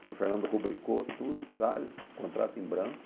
O senhor Fernando rubricou tudo, talho, contrato em branco.